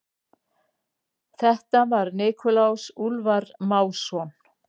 Þetta var Nikulás Úlfar Másson.